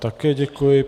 Také děkuji.